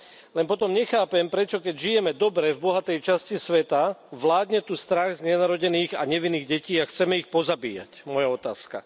Len potom nechápem prečo keď žijeme dobre v bohatej časti sveta tu vládne strach z nenarodených a nevinných detí a chceme ich pozabíjať, moja otázka.